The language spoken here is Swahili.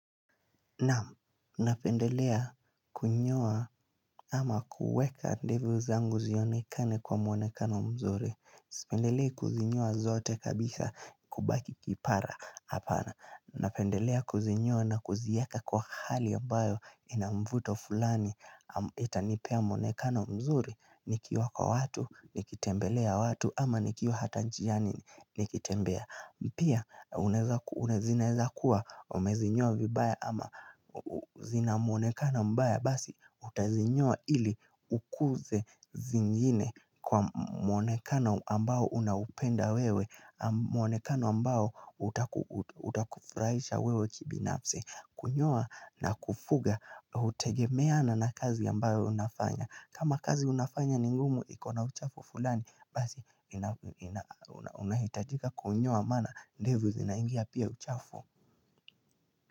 Naam napendelea kunyoa ama kuweka ndevu zangu zionekane kwa muonekano mzuri Sipendelei kuzinyoa zote kabisa kubaki kipara hapana Napendelea kuzinyoa na kuzieka kwa hali ambayo ina mvuto fulani Itanipea muonekano mzuri, nikiwa kwa watu, nikitembelea watu ama nikiwa hata njiani, nikitembea Pia, unaeza kuwa zinaeza kuwa, umezinyoa vibaya ama zina mwonekano mbaya Basi, utazinyoa ili ukuze zingine kwa mwonekano ambao unaupenda wewe mwonekano ambao utakufurahisha wewe kibinafsi kunyoa na kufuga, hutegemeana na kazi ambayo unafanya kama kazi unafanya ni ngumu, iko na uchafu fulani Basi unahitajika kunyoa maana ndevu zinaingia pia uchafu.